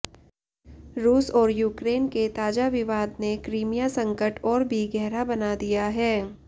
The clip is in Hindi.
रूस और यूक्रेन के ताजा विवाद ने क्रीमिया संकट और भी गहरा बना दिया है